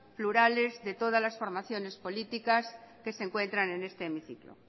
plurales de todas las formaciones políticas que se encuentran en este hemiciclo